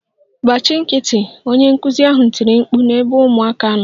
Gbachi nkịtị! Onye nkụzi ahụ tiri mkpu n'ebe ụmụaka nọ